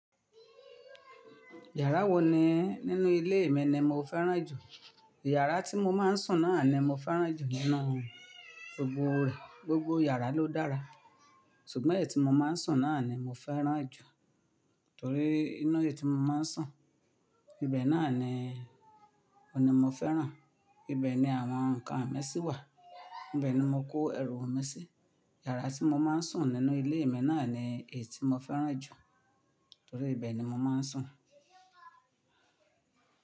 Yàrá wo ni nínú ilé mi ni mo fẹ́ràn jù? Yàrá tí mo máa ń sùn náà ni mo fẹ́ràn jù nínú rẹ̀ gbogbo yàrá ló dára. Ṣùgbọ́n èyí tí mo máa ń sùn náà ni mo fẹ́ràn jù torí inu èyí tí mo máa ń sùn ibẹ̀ náà ni, òní mo fẹ́ràn. Ibẹ̀ ni àwọn ǹkan mi sí wà. Ibẹ̀ ni mo kó ẹrù mi sí. Yàrá tí mo máa ń sùn nínú ilé mi náà ni èyí tí mo fẹ́ràn jù torí ibẹ̀ ni mo máa ń sùn.